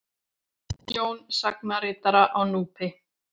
Jón sagnaritara á Núpi.